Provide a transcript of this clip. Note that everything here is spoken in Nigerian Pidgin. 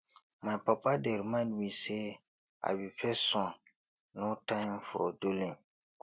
my papa dey remind me say i be first son no time for dulling